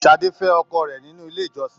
Sadé fẹ ọkọ rẹ nínú ilé ìjọsìn.